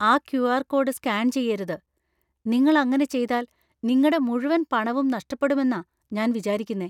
ആ QR. Code scan ചെയ്യരുത്. നിങ്ങൾ അങ്ങനെ ചെയ്താൽ നിങ്ങടെ മുഴുവൻ പണവും നഷ്ടപ്പെടുമെന്നാ ഞാൻ വിചാരിക്കുന്നേ.